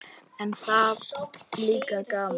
En það er líka gaman.